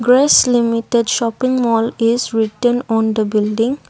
grecs limited shopping mall is written on the building.